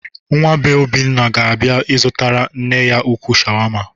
Nwa bee Obioma ga-abịa ịzụtara nne ya ukwuu shawama.